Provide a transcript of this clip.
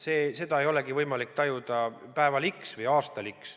Seda ei ole võimalik tajuda päeval x või aastal x.